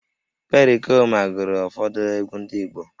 Perikoma gụrụ ụfọdụ egwú ndị Igbo